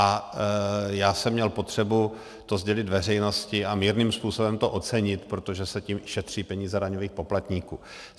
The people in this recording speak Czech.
A já jsem měl potřebu to sdělit veřejnosti a mírným způsobem to ocenit, protože se tím šetří peníze daňových poplatníků.